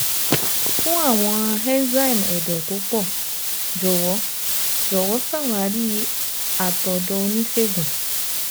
Fún àwọn enzyme ẹdọ́ tó pọ̀, jọ̀wọ́ jọ̀wọ́ ṣawari àtọ̀dọ̀ oníṣègùn-è-tó-è-tó-è-è-tó